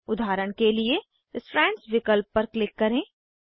उदाहरण के लिए स्ट्रैंड्स विकल्प पर क्लिक करें